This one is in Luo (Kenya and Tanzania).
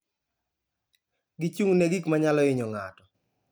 Gichung' ne gik ma nyalo hinyo ng'ato.